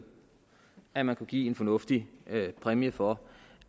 at man kunne give en fornuftig præmie for